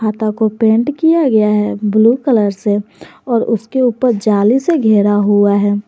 आता को पेंट किया गया है ब्लू कलर से और उसके ऊपर जाली से घेरा हुआ है।